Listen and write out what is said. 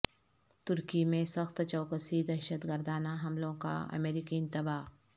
ترکی میں سخت چوکسی دہشت گردانہ حملوں کا امریکی انتباہ